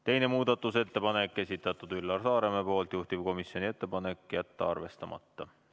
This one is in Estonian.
Teine muudatusettepanek, esitanud Üllar Saaremäe, juhtivkomisjoni ettepanek on jätta see arvestamata.